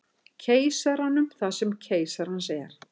Keisaranum það sem keisarans er.